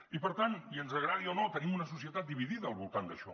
i per tant i ens agradi o no tenim una societat dividida al voltant d’això